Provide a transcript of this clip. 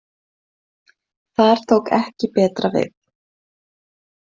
Þar tók ekki betra við.